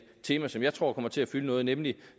tema som jeg tror kommer til at fylde noget nemlig